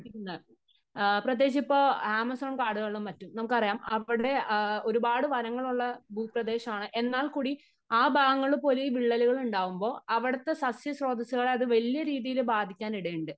ങാ പ്രത്യേകിച്ച് ഇപ്പോ ആമസോൺ കാടുകളിലും മറ്റും നമുക്കറിയാം അവിടെ ഒരുപാട് വനങ്ങൾ ഉള്ള ഭൂപ്രദേശമാണ്. എന്നാൽ കൂടി ആ ഭാഗങ്ങളിൽ പോലും ഈ വിള്ളലുകൾ ഉണ്ടാകുമ്പോ അവിടത്തെ സസ്യ സ്രോതസ്സുകളെ വലിയ രീതിയില് ബാധിക്കാനിടയുണ്ട്.